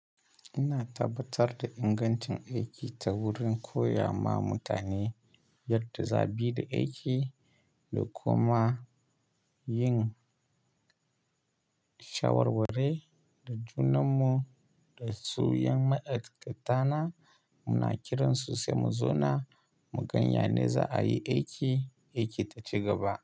Ina tabbatar da ingancin aiki ta wurin koya ma mutane yadda za su bi da aiki da kuma yin shawarwarre da junanmu. Da su ƴan ma'aikatana muna kiran su sai mu zo na, mu ganya ne za a yi aiki, aiki ta cigaba.